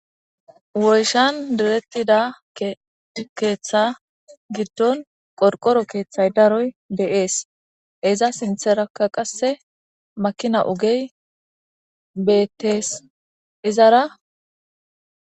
woyshan direttida keeththa giddon qorqoro keeththay daroy deees iza sintheraka qasse makina ugey bettees izara